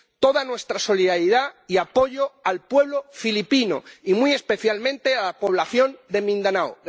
Toda nuestra solidaridad y apoyo al pueblo filipino y muy especialmente a la población de Mindanao.